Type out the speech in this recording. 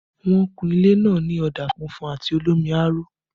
Wọ́n kun ilé náà ní ọ̀dà funfun àti olómi aró